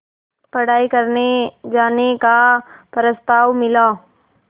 पढ़ाई करने जाने का प्रस्ताव मिला